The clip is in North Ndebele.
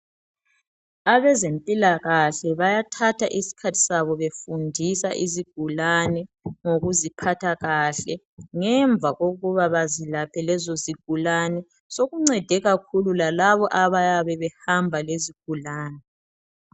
Abezempilakahle bayathatha isikhathi sabo befundisa izigulane ngokuziphatha kahle ngemva kokuba bazilaphe lezo zigulane sokuncede kakhulu lalabo abayabe behamba lezigulane